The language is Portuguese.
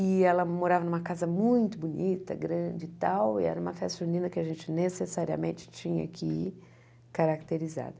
E ela morava numa casa muito bonita, grande e tal, e era uma festa junina que a gente necessariamente tinha que caracterizar.